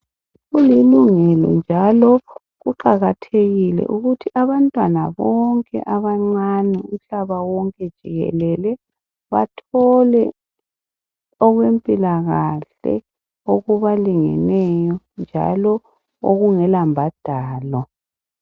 Kulilungelo njalo kuqakathekile ukuthi abantwana bonke abancane umhlaba wonke jikelele bathole okwempilakahle okubalingeneyo njalo okungelambhadalo